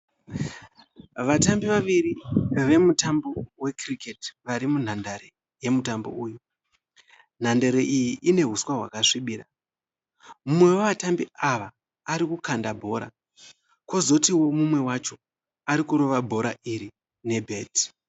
Vatambi vaviri vemutambo wekiriketi vari munhandare yemutambo uyu. Nhandare iyi ine huswa hwakasvibira. Mumwe wevatambi ava ari kukanda bhora kwozotiwo mumwe wacho ari kurova bhora iri nebheti.